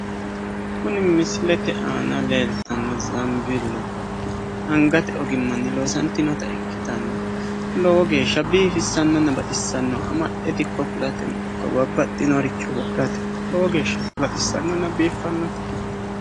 Kuni misilete aana leelittano zabbelubba angate ogimani loosantino babbaxinoricho wodhatenna hattono anga amaxate lowo geeshsha biiffanonna baxisanote